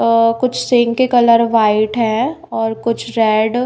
अह कुछ सिंक के colour white है और कुछ रेड ।